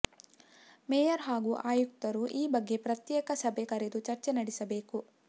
mayor ಹಾಗೂ ಆಯುಕ್ತರು ಈ ಬಗ್ಗೆ ಪ್ರತ್ಯೇಕ ಸಭೆೆ ಕರೆದು ಚರ್ಚೆ ನಡೆಸಬೇಕು